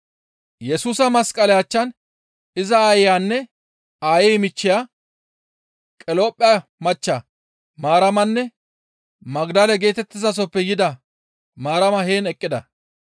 Yesusa masqale achchan iza aayeyanne aayey michcheya Qaliyopha machcha Maaramanne Magdale geetettizasoppe yida Maarama heen eqqida.